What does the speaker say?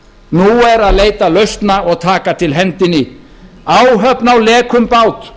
nú er að leita lausna og taka til hendinni áhöfn á lekum bát